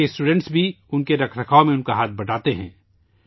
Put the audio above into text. ان کے طلباء بھی اس کی دیکھ بھال میں مدد کرتے ہیں